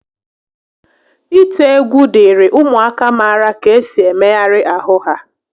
Ite egwu dịịrị ụmụaka mara ka esi emegharị ahụ ha